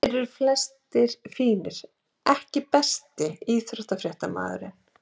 Þeir eru flestir fínir EKKI besti íþróttafréttamaðurinn?